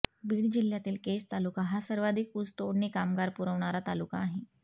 बीड जिल्ह्यातील केज तालुका हा सर्वाधिक ऊसतोडणी कामगार पुरवणारा तालुका आहे